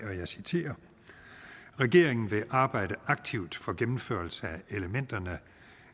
regeringen vil arbejde aktivt for gennemførelse af elementerne